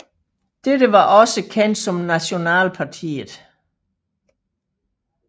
Dette var også kendt som nationalpartiet